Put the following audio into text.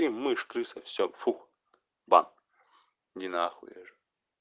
мышь крыса все фу бан иди нахуй я говорю